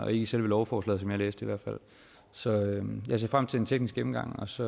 i selve lovforslaget som jeg læste det så jeg ser frem til en teknisk gennemgang og så